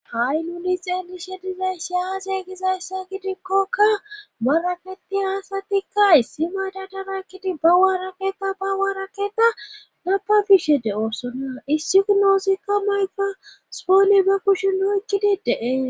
ha7i nuli xeedishe dizay shi haase gizayssa gidikkokka baraketi haasatikka issi maada daraykkidi ba waaraketa ba waaraketa napa bishe de7oossona issignoosikka mayka spoone ba kushu noykkidi deee